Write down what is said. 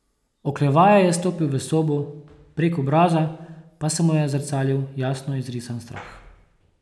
Oklevaje je stopil v sobo, prek obraza pa se mu je zrcalil jasno izrisan strah.